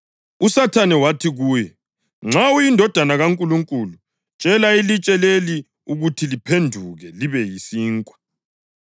USathane wathi kuye, “Nxa uyiNdodana kaNkulunkulu, tshela ilitshe leli ukuthi liphenduke libe yisinkwa.”